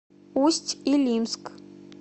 усть илимск